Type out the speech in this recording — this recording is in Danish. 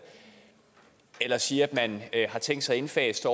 eller siger at man har tænkt sig at indfase